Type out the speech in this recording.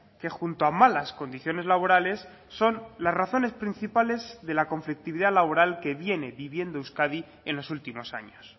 que junto a malas condiciones laborales son las razones principales de la conflictividad laboral que viene viviendo euskadi en los últimos años